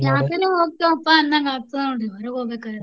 ಯಾಕರೆ ಹೊಕ್ಕೇಪ್ಪಾ ಅಂದಂಗ ಆಗ್ತದ ನೋಡ್ರಿ ಹೊರಗ ಹೋಗ್ಬೇಕಾರ.